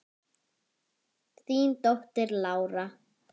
Þín dóttir, Lára.